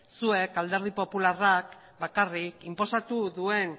zuek alderdi popularrak bakarrik inposatu duen